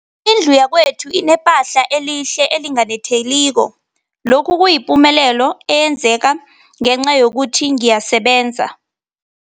Indlu yakwethu inephahla elihle, elinganetheliko, lokhu kuyipumelelo eyenzeke ngenca yokuthi ngiyasebenza.